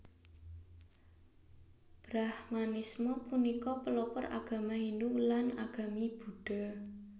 Brahmanisme punika pelopor agami Hindu lan agami Buddha